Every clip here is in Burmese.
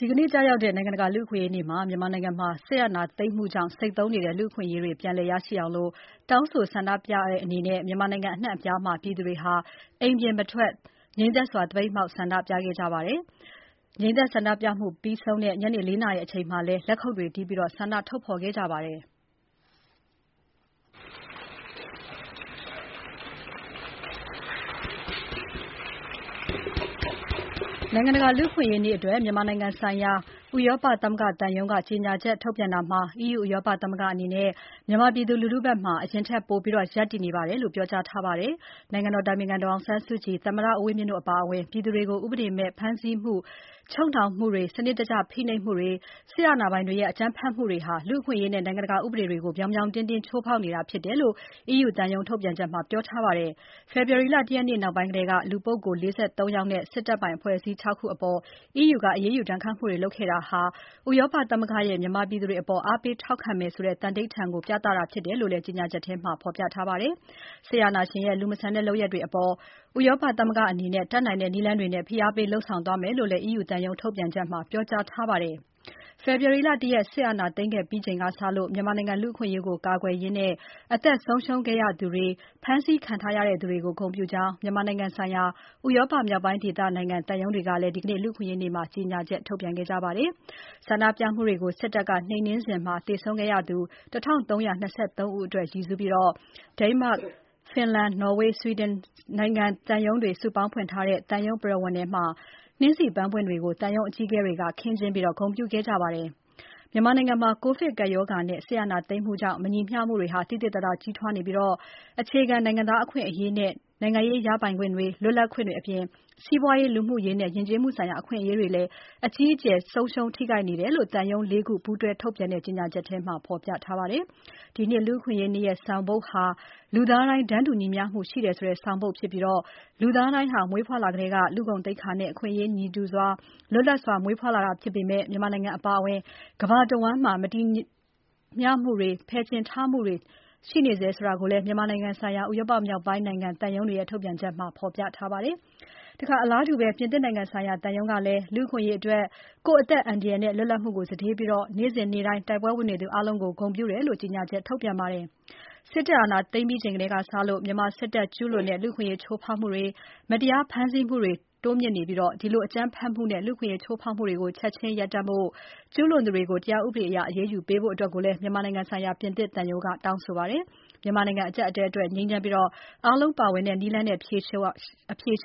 ဒီနေ့ ကျရောက်တဲ့ နိုင်ငံတကာ လူ့အခွင့်အရေးနေ့မှာ မြန်မာနိုင်ငံမှာ စစ်အာဏာသိမ်းမှုကြောင့် ဆိတ်သုဉ်းနေတဲ့ လူ့အခွင့်အရေးတွေပြန်လည်ရရှိအောင် တောင်းဆိုဆန္ဒပြတဲ့အနေနဲ့ မြန်မာနိုင်ငံ အနှံ့အပြားမှာ ပြည်သူတွေဟာ အိမ်ပြင်မထွက် ငြိမ်သက်စွာ သပိတ်မှောက် ဆန္ဒပြခဲ့ကြပါတယ်။ ငြိမ်သက်ဆန္ဒပြမှု ပြီးဆုံးတဲ့ ညနေ ၄ နာရီအချိန်မှာလည်း လက်ခုပ်တွေတီးပြီး ဆန္ဒထုတ်ဖော်ခဲ့ကြပါတယ်။ နိုင်ငံတကာ လူ့အခွင့်အရေးနေ့အတွက် မြန်မာနိုင်ငံဆိုင်ရာ ဥရောပသမဂ္ဂသံရုံးက ကြေညာချက်ထုတ်ပြန်တာမှာ EU ဥရောပသမဂ္ဂအနေနဲ့ မြန်မာပြည်သူလူထုဘက်မှာ အရင်ထက်ပိုပြီး ရပ်တည်နေပါတယ်လို့ ပြောကြားထားပါတယ်။ နိုင်ငံတော်အတိုင်ပင်ခံပုဂ္ဂိုလ် ဒေါ်အောင်ဆန်းစုကြည်၊ သမ္မတဦးဝင်းမြင့်တို့အပါအဝင် ပြည်သူတွေကို ဥပဒေမဲ့ ဖမ်းဆီးမှု၊ ချုပ်နှောင်မှုတွေ၊ စနစ်တကျဖိနှိပ်နေမှုတွေ စစ်တပ်အာဏာပိုင်တွေရဲ့ အကြမ်းဖက်မှုတွေဟာ လူ့အခွင့်အရေးနဲ့ နိုင်ငံတကာဥပဒေတွေကို ပြောင်ပြောင်တင်းတင်းချိုးဖောက်နေတာဖြစ်တယ်လို့ EU သံရုံး ထုတ်ပြန်ချက်မှာ ပြောထားပါတယ်။ ဖေဖော်ဝါရီလ ၁ ရက်နေ့ နောက်ပိုင်းထဲက လူပုဂ္ဂိုလ် ၄၃ ယောက်နဲ့ စစ်တပ်ပိုင်အဖွဲ့အစည်း ၆ ခုအပေါ် EU က အရေးယူဒဏ်ခတ်မှုတွေ လုပ်ခဲ့တာဟာ ဥရောပသမဂ္ဂရဲ့ မြန်မာပြည်သူတွေအပေါ် အားပေးထောက်ခံမယ်ဆိုတဲ သန္နိဋ္ဌာန်ကို ပြသတာဖြစ်တယ်လို့လည်း ကြေညာချက်ထဲမှာ ဖော်ပြထားပါတယ်။ စစ်အာဏာရှင်ရဲ့ လူမဆန်တဲ့လုပ်ရပ်တွေအပေါ် ဥရောပသမဂ္ဂအနေနဲ့ တတ်နိုင်တဲ့နည်းလမ်းတွေနဲ့ ဖိအားပေးလုပ်ဆောင်သွားမယ်လို့လည်း EU သံရုံး ထုတ်ပြန်ချက်မှာ ပြောကြားထားပါတယ်။ ဖေဖော်ဝါရီလ ၁ ရက် စစ်အာဏာသိမ်းခဲ့ချိန်ကစလို့ မြန်မာနိုင်ငံ လူ့အခွင့်အရေးကို ကာကွယ်ရင်း အသက်ဆုံးရှုံးခဲ့သူတွေ၊ ဖမ်းဆီးခံခဲ့ရသူတွေကို ဂုဏ်ပြုကြောင်း မြန်မာနိုင်ငံဆိုင်ရာ ဥရောပမြောက်ပိုင်းဒေသနိုင်ငံသံရုံးတွေကလည်း ဒီနေ့ လူ့အခွင့်အရေးနေ့မှာ ကြေညာချက် ထုတ်ပြန်ခဲ့ကြပါတယ်။ ဆန္ဒပြမှုတွေကို စစ်တပ်က နှိမ်နှင်းစဉ် သေဆုံးခဲ့ရသူ ၁,၃၂၃ ဦးအတွက်ရည်စူးပြီး Denmark Finland ၊ Norway နဲ့ Sweden နိုင်ငံ သံရုံးတွေ စုပေါင်းဖွင့်ထားတဲ့ သံရုံးပရဝဏ်ထဲမှာနှင်းဆီပန်းပွင့်တွေကို သံရုံးအကြီးအကဲတွေက ခင်းကျင်းဂုဏ်ပြုခဲ့ပါတယ်။ မြန်မာနိုင်ငံမှာ ကိုဗစ်ကပ်ရောဂါနဲ့ စစ်အာဏာသိမ်းမှုကြောင့် မညီမျှမှုတွေ သိသိသာသာကြီးထွားနေပြီး၊ အခြေခံ နိုင်ငံသားအခွင့်အရေးနဲ့ နိုင်ငံရေး ရပိုင်ခွင့်တွေ၊ လွတ်လပ်ခွင့်တွေအပြင် စီးပွားရေး၊ လူမှုရေးနဲ့ ယဉ်ကျေးမှုဆိုင်ရာ အခွင့်အရေးတွေလည်း အကြီးအကျယ် ထိခိုက်နေတယ်လို့ သံရုံး ၄ ခုပူးတွဲထုတ်ပြန်တဲ့ ကြေညာချက်ထဲမှာ ဖော်ပြထားပါတယ်။ ဒီနှစ် လူ့အခွင့်အရေးနေ့ရဲ့ဆောင်ပုဒ်ဟာ လူသားတိုင်း တန်းတူညီမျှမှုရှိတယ်၊ လူသားတိုင်းဟာမွေးဖွားလာကတည်းက လူ့ဂုဏ်သိက္ခာနဲ့ အခွင့်အရေးတူညီစွာ၊ လွတ်လပ်စွာ မွေးဖွားလာတာဖြစ်ပေမဲ့ မြန်မာနိုင်ငံအပါအဝင် ကမ္ဘာတဝန်းမှာ မညီမျှမှုတွေ၊ ဖယ်ကျဉ်ထားမှုတွေ ရှိနေဆဲဖြစ်တယ်လို့လည်း မြန်မာနိုင်ငံဆိုင်ရာ ဥရောပမြောက်ပိုင်းနိုင်ငံသံရုံးတွေရဲ့ ထုတ်ပြန်ချက်မှာ ဖော်ပြထားပါတယ်။ အလားတူ ပြင်သစ်နိုင်ငံဆိုင်ရာ သံရုံးကလည်း လူ့အခွင့်အရေးအတွက် ကိုယ့်အသက်အန္တရာယ်နဲ့ လွတ်လပ်မှုကိုစတေးပြီး နေ့စဉ်နေ့တိုင်း တိုက်ပွဲဝင်နေသူအားလုံးကို ဂုဏ်ပြုတယ်လို့ ကြေညာချက်ထုတ်ပြန်ပါတယ်။ စစ်တပ်အာဏာသိမ်းပြီးချိန်ကစလို့ မြန်မာစစ်တပ်ကကျူးလွန်တဲ့ လူ့အခွင့်အရေး ချိုးဖောက်မှုတွေ၊ မတရားဖမ်းဆီးမှုတွေတိုးမြင့်နေပြီး ဒီလို အကြမ်းဖက်မှုနဲ့ လူ့အခွင့်အရေး ချိုးဖောက်မှုတွေကို ချက်ချင်းရပ်တန့်ဖို့၊ ကျူးလွန်သူတွေကို တရားဥပဒေအရ အရေးယူပေးဖို့လည်း မြန်မာနိုင်ငံဆိုင်ရာ ပြင်သစ်သံရုံးက တောင်းဆိုပါတယ်။ မြန်မာအကျပ်အတည်းအတွက် ငြိမ်းချမ်းပြီး အားလုံးပါဝင်တဲ့နည်းလမ်းနဲ့ အဖြေ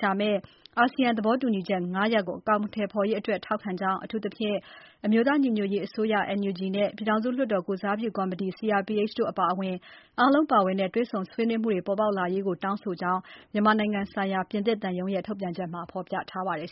ရှာမယ့် အာဆီယံ သဘောတူညီချက်၅ ရပ်ကို အကောင်အထည်ဖော်ရေးအတွက် ထောက်ခံကြောင်းအထူးသဖြင့် အမျိုးသားညီညွတ်ရေးအစိုးရ နဲ့ ပြည်ထောင်စုလွှတ်တော်ကိုယ်စားပြုကော်မတီ တို့အပါအဝင် အားလုံးပါဝင်တဲ့ တွေ့ဆုံဆွေးနွေးမှုတွေ ပေါ်ပေါက်လာရေးကို တောင်းဆိုကြောင်း မြန်မာနိုင်ငံဆိုင်ရာ ပြင်သစ်သံရုံးရဲ့ ထုတ်ပြန်ချက်မှာ ဖော်ပြထားပါတယ်